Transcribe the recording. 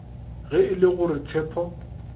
ge e le gore tshepo